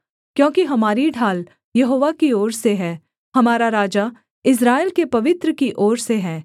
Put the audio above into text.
क्योंकि हमारी ढाल यहोवा की ओर से है हमारा राजा इस्राएल के पवित्र की ओर से है